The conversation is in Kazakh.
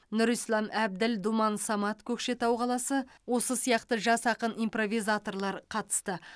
нұрислам әбділ думан самат көкшетау қаласы осы сияқты жас ақын импровизаторлар қатысты